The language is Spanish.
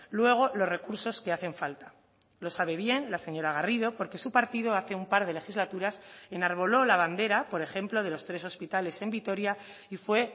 luego los recursos que hacen falta lo sabe bien la señora garrido porque su partido hace un par de legislaturas enarboló la bandera por ejemplo de los tres hospitales en vitoria y fue